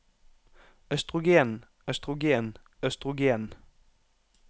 østrogen østrogen østrogen